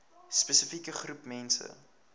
spesifieke groep mense